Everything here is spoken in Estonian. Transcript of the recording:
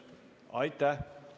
Aitäh!